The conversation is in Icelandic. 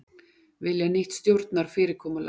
Vilja nýtt stjórnarfyrirkomulag